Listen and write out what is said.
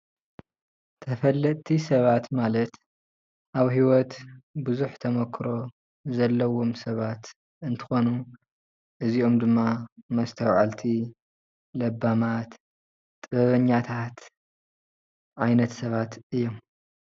ተፈለጥቲ ሰባት ማለት ኣብ ሂዎት ቡዝሕ ተሞክሮ ዘለዎም ሰባት እንትኾኑ እዚኦም ድማ መስተውዐልቲ ፣ለባማት ፣ ጥበበኛታት ዓይነት ሰባት እዮም፡፡